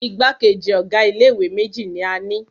Igbákejì ọ̀ga ilé ìwé méjì ní a ni.